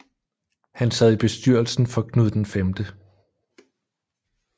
Han sad i bestyrelsen for Knud V